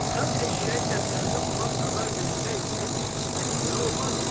Sən eşşəyi gətirəndə ona xəbər versəydin, heç belə olmazdı.